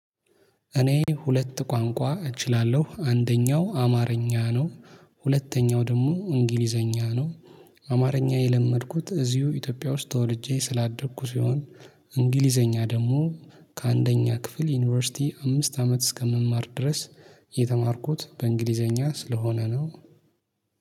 እኔ ሁለት ቋንቋ እችላለሁ አንደኛው አማርኛ ነው ሁለተኛው ደግሞ እንግሊዘኛ ነው። አማርኛ የለመድኩት እዚሁ ኢትዮጵያ ውስጥ ተወልጄ ስላደግኩ ሲሆን። እንግሊዘኛ ደግሞ ከአንደኛ ክፍል ዩኒቨርሲቲ አምስት አመት እስከምማር ድረስ። የተማርኩት በእንግሊዘኛ ስለሆነ ነው